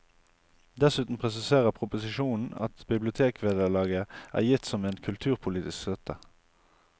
Dessuten presiserer proposisjonen at bibliotekvederlaget er gitt som en kulturpolitisk støtte.